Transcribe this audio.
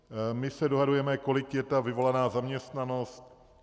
My se dohadujeme, kolik je ta vyvolaná zaměstnanost.